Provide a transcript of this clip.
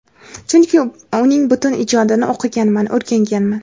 chunki uning butun ijodini o‘qiganman, o‘rganganman.